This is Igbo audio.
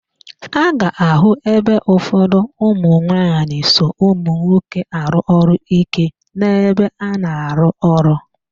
A ga-àhụ́ ebe ụfọdụ ụmụnwaanyị so ụmụnwoke arụ ọrụ íké n'ebe a na-arụ ụlọ.